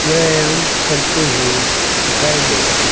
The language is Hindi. व्यायाम करते हुए दिखाए गए हैं।